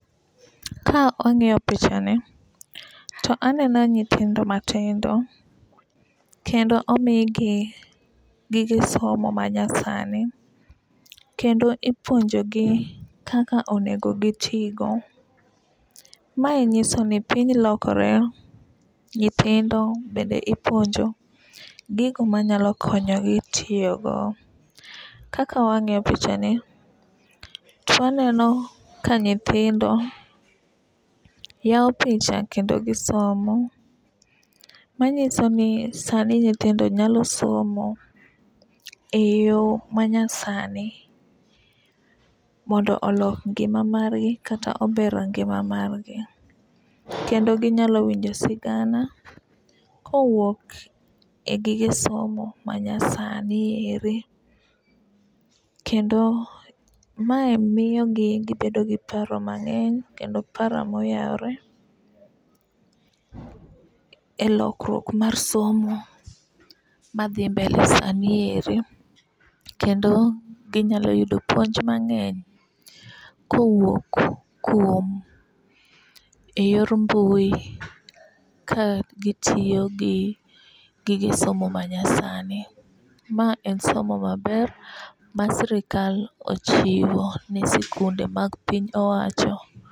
Ka wang'iyo picha ni to aneno nyithindo matindo kendo omigi gige somo manya sani kendo ipuonjo gi kaka onego gitigo. Mae nyiso ni piny lokore ,nyithindo bende ipuonjo gigo manyalo konyo gi tiyo go. Kaka wang'iyo picha ni twaneno ka nyithindo yawo picha kendo gisomo manyiso ni sani nyithindo nyalo somo e yo manya sani mondo olok ngima margi kata ober ngima mari . Kendo ginyalo winjo sigana kowuok e gige somo ma nyasani eri kendo mae miyo gi gibedo gi paro mang'eny kendo paro moyawre e lokruok mar somo madhi mbele sani eri. Kendo inyalo yudo puonj mang'eny kowuok kuom e yor mbui ka gitiyo gi gige somo manya sani . Ma en somo maber ma sirikal ochiwo ne sikunde mag piny owacho.